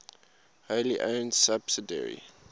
wholly owned subsidiary